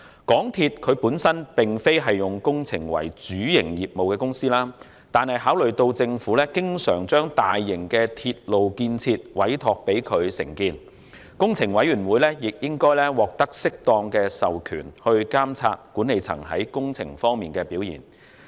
港鐵公司本身並非以工程為主營業務，但考慮到政府經常將大型的鐵路建設委託他們承建，工程委員會亦應該獲得適當的授權來監察管理層在工程方面的表現。